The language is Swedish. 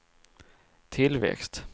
tillväxt